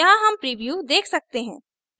यहाँ हम प्रीव्यू देख सकते हैं